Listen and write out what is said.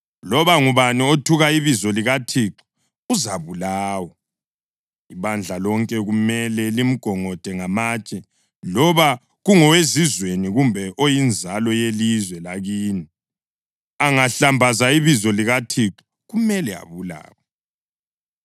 Loba ngubani othuka ibizo likaThixo uzabulawa. Ibandla lonke kumele limgongode ngamatshe. Loba kungowezizweni kumbe oyinzalo yelizwe lakini angahlambaza ibizo likaThixo kumele abulawe.